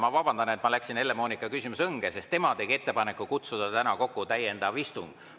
Ma vabandan, et ma läksin Helle-Moonika küsimuse õnge, sest tema tegi ettepaneku kutsuda täna kokku täiendav istung.